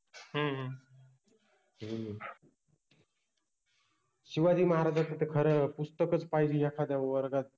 हम्म हा हम्म शिवाजि महाराजांच त खर पुस्तकच पाहिजे एखाद्या वर्गात